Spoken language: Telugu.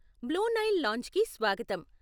బ్లూ నైల్ లాంజ్కి స్వాగతం.